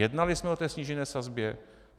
Jednali jsme o té snížené sazbě?